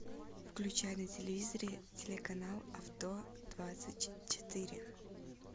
включай на телевизоре телеканал авто двадцать четыре